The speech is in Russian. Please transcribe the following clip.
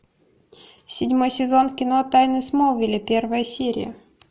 седьмой сезон кино тайны смолвиля первая серия